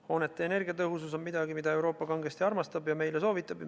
Hoonete energiatõhusus on midagi, mida Euroopa kangesti armastab ja meile soovitab.